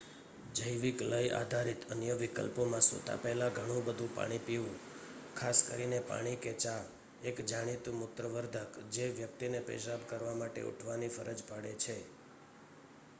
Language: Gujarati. જૈવિક લય આધારિત અન્ય વિકલ્પોમાં સૂતા પહેલા ઘણું બધું પાણી પીવું ખાસ કરીને પાણી કે ચા એક જાણીતું મૂત્ર વર્ધક જે વ્યક્તિને પેશાબ કરવા માટે ઉઠવાની ફરજ પાડે છે